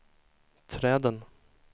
träden